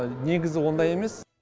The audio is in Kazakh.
негізі ондай емес